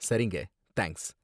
சரிங்க! தேங்க்ஸ்.